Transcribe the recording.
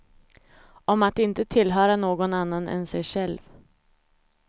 Om att inte tillhöra någon annan än sig själv.